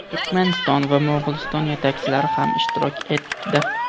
Turkmaniston va Mo‘g‘uliston yetakchilari ham ishtirok etdi.